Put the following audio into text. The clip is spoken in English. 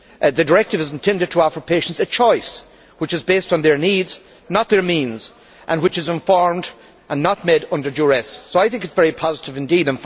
The directive is intended to offer patients a choice which is based on their needs, not their means, and which is informed and not made under duress, so I think it is very positive indeed.